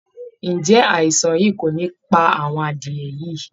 Ǹjẹ́ àìsàn yìí kò ní pa àwọn adìẹ̀ yìí?